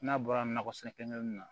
N'a bɔra nakɔ sɛnɛ kelen kelen na